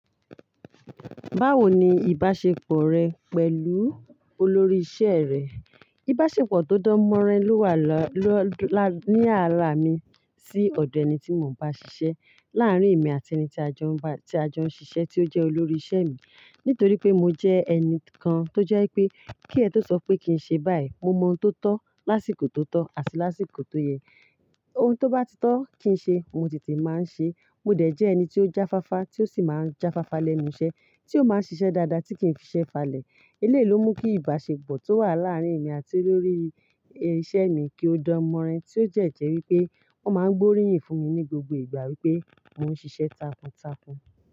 Báwo ni ìbáṣepọ̀ rẹ pẹ̀lú olórí iṣẹ́ rẹ? Ìbáṣepọ̀ tó dán mọ́rán ló wà lọ́la ní àrà mi sí ọ̀dọ̀ ẹni tí mo ń bá ṣiṣẹ́ láàárín èmi àti ẹni tí a jọ ń bá, tí a jọ ń ṣiṣẹ́ tí ó jẹ́ olórí iṣẹ́ mi. Nítorí pé mo jẹ́ ẹni kan tó jẹ́ pé kí ẹ tó sọ pé kí n ṣe báyìí, mo mọ ohun tó tọ́ lásìkò tó tọ́ àti lásìkò tó yẹ. Ohun tó bá ti tọ́ kí n ṣe, mo tètè máa ń ṣe. Mo dẹ̀ jẹ́ ẹni tí ó jáfáfá, tí ó sì máa ń jáfáfá lẹ́nu iṣẹ́, tí ó máa ń ṣiṣẹ́ dáadáa tí kì í fi iṣẹ́ falẹ̀. Eléyìí ló mú kí ìbáṣepọ̀ tó wà láàárín èmi àti olórí iṣẹ́ mi kí ó dán mọ́rán tí ó jẹ́ jẹ́ wípé wọ́n máa ń gbóríyìn fún mi ní gbogbo ìgbà wípé mò ń ṣiṣẹ́ takuntakun.